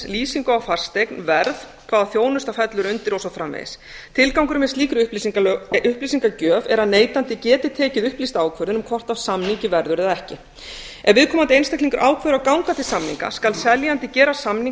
lýsingu á fasteign verð hvaða þjónusta fellur undir og svo framvegis tilgangurinn með slíkri upplýsingagjöf er að neytandi geti tekið upplýsta ákvörðun um hvort af samningi verður eða ekki ef viðkomandi einstaklingur ákveður að ganga til samninga skal seljandi gera samning á